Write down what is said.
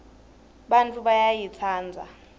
bantfu bayayitsandza